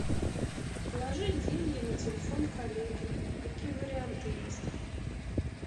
положить деньги на телефон коллеги какие варианты есть